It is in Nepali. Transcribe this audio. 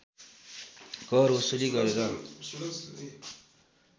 कर असुली गरेर